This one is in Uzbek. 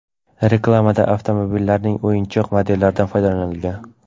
Reklamada avtomobillarning o‘yinchoq modellaridan foydalanilgan.